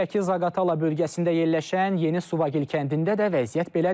Şəki-Zaqatala bölgəsində yerləşən Yeni Suvagil kəndində də vəziyyət belədir.